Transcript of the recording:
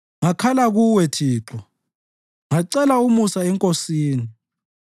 Ngakhala kuwe, Thixo; ngacela umusa eNkosini: